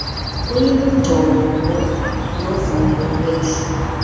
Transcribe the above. kuyimigcobo novuyo wehla